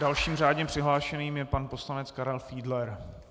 Dalším řádně přihlášeným je pan poslanec Karel Fiedler.